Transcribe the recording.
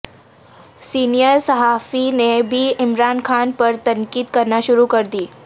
senior صحافی نے بھی عمران خان پر تنقید کر نا شروع کر دی